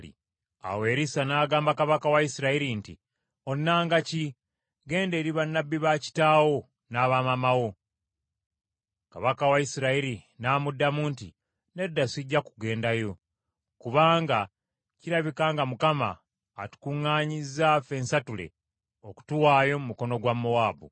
Awo Erisa n’agamba kabaka wa Isirayiri nti, “Onnanga ki? Genda eri bannabbi ba kitaawo n’aba maama wo.” Kabaka wa Isirayiri n’amuddamu nti, “Nedda sijja kugendayo; kubanga kirabika nga Mukama atukuŋŋaanyiza ffensatule, okutuwaayo mu mukono gwa Mowaabu.”